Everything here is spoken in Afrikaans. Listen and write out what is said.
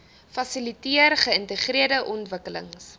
fasiliteer geïntegreerde ontwikkelings